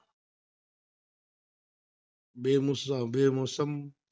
बे मूस बे मौसम,